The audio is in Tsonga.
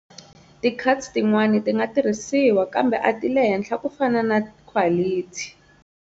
Ti cuts tin'wana tinga tirhisiwa, kambe ati le henhla kufana na khwalithi.